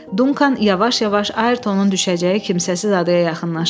Dunkan yavaş-yavaş Ayrtonun düşəcəyi kimsəsiz adaya yaxınlaşırdı.